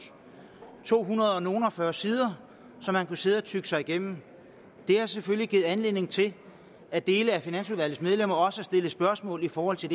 to hundrede og nogle og fyrre sider som man kunne sidde og tygge sig igennem det har selvfølgelig givet anledning til at dele af finansudvalgets medlemmer også har stillet spørgsmål i forhold til